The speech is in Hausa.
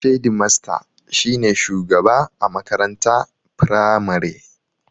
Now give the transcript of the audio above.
Shedimasta shi ne shugaba a makaranta firamare